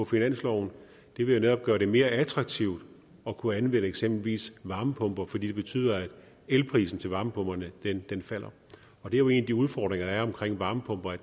finansloven det vil jo netop gøre det mere attraktivt at kunne anvende eksempelvis varmepumper fordi det betyder at elprisen til varmepumperne falder og det er jo en af de udfordringer der er omkring varmepumper